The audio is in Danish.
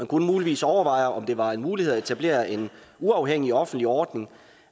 kunne muligvis overveje om det var en mulighed at etablere en uafhængig offentlig ordning